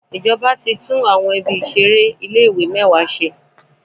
Ìjọba ti tún ibi ìṣeré àwọn ilé ìwé mẹ́wàá ṣe.